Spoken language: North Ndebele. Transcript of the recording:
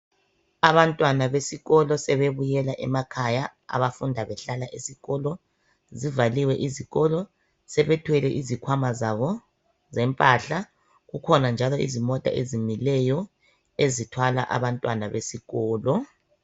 Abantwana besikolo sebebuyela emakhaya abafunda behlala esikolo .Zivaliwe izikolo sebethwele izikhwama zabo zempahla, kukhona njalo izimota ezimileyo ezithwala abantwana besikolo .